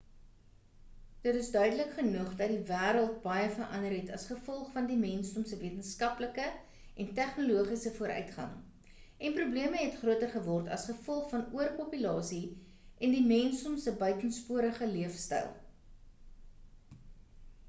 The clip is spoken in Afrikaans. dit is duidelik genoeg dat die wêreld baie verander het as gevolg van die mensdom se wetenskaplike en tegnologiese vooruitgang en probleme het groter geword as gevolg van oor-populasie en die mensdom se buitensporige leefstyl